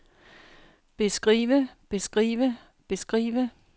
beskrive beskrive beskrive